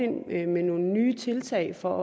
ind med nogle nye tiltag for